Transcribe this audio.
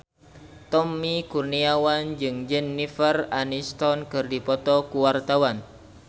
Tommy Kurniawan jeung Jennifer Aniston keur dipoto ku wartawan